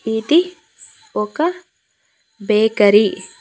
ఇది ఒక బేకరీ .